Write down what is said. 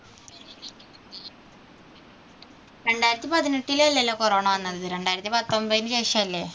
രണ്ടായിരത്തി പതിനെട്ടിൽ അല്ലല്ലോ corona വന്നത്. രണ്ടായിരത്തി പത്തൊൻപത്തിനു ശേഷമല്ലേ